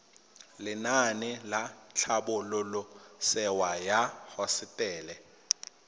lenaane la tlhabololosewa ya hosetele